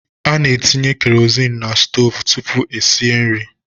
Ana etinye kerozinu n'stoovu tụpụ esie nri.